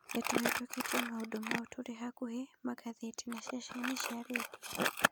Nĩ tũhetũkĩtie maũndũ mau tũrĩ hakuhĩ magathĩti na ceceni cia rendio.